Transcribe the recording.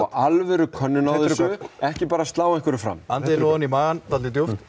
alvöru könnunum á þessu ekki bara slá einhverju fram þið nú ofan í magann djúpt nú